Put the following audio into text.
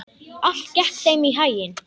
Allt gekk þeim í haginn.